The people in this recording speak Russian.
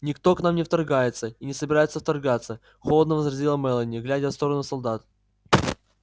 никто к нам не вторгается и не собирается вторгаться холодно возразила мелани глядя в сторону солдат